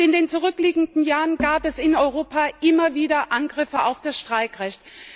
In den zurückliegenden Jahren gab es in Europa immer wieder Angriffe auf das Streikrecht.